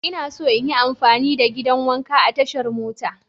Ina so in yi amfani da gidan wanka a tashan mota.